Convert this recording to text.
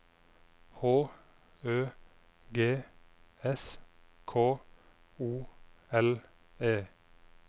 H Ø G S K O L E